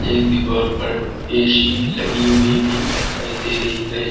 एक दीवाल पर ए_सी लगी हुई भी दिखाई दे रही है।